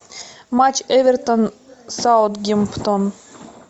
матч эвертон саутгемптон